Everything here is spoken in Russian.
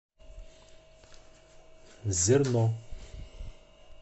зерно